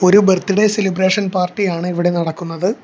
ഒരു birthday celebration party ആണ് ഇവിടെ നടക്കുന്നത്.